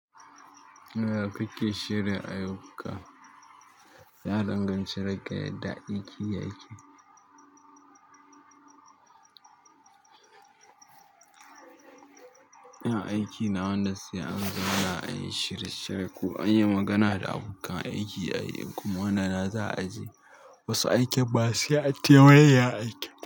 Ya ya ku ke shirya ayyuka? Ya danganci da ga yadda aiki ya ke ina aikina wanda sai an zauna an yin shirye-shiye ko an yi magana da abokan aiki a yi, kuma wannan na za a je wasu aikin mq sai an taimayya aiki.